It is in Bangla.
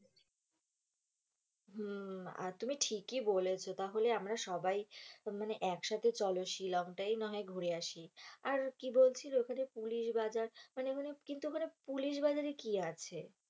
হম আর তুমি ঠিকি বলেছো তাহলে আমরা সবাই মানে একসাথে চলো শিলং তাই নাহয় ঘুরে আসি, আর কি বলছিলে ওখানে পুলিশ বাজার, মানে ওখানে কিন্তু ওখানে পুলিশ বাজারে কি আছে